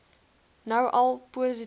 nou al positief